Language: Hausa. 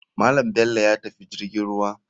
Malam bello yatafi jirgin ruwa.